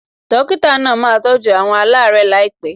Dókítà náà máa tọ́jú àwọn alaarẹ laipe